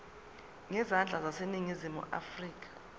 zezandla zaseningizimu afrika